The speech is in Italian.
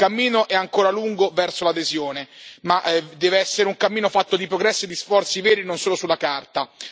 Il cammino è ancora lungo verso l'adesione, ma deve essere un cammino fatto di progresso e di sforzi veri non solo sulla carta.